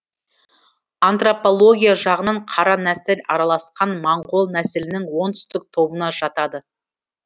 антропология жағынан қара нәсіл араласқан моңғол нәсілінің оңтүстік тобына жатады